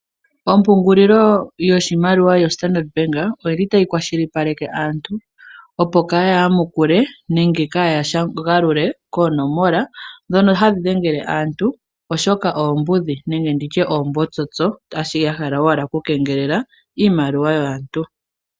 Ompungulilo yoshimaliwa yo Standard bank oyili tayi kwashili paleke aantu, opo kaaya yamukule nenge kaaya galule koo nomola ndhono hadhi dhengele aantu oshoka oombudhi, nenge nditye oombotsotso shaashi ya hala owala oku kengelela iimaliwa yaantu.